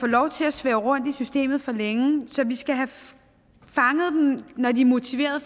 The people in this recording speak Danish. lov til at svæve rundt i systemet for længe så vi skal have fanget dem når de er motiveret